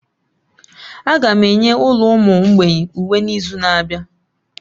Aga m enye ụlọ ụmụ mgbei uwe n'izu na-abịa.